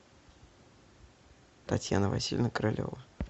татьяна васильевна королева